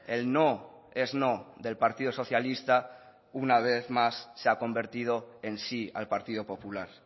el no es no del partido socialista una vez más se ha convertido en sí al partido popular